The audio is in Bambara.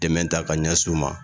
Dɛmɛ ta ka ɲɛsin u ma